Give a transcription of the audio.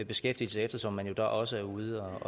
beskæftigelse eftersom man jo da også er ude